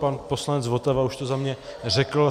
Pan poslanec Votava už to za mě řekl.